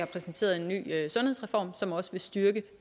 præsenteret en ny sundhedsreform som også vil styrke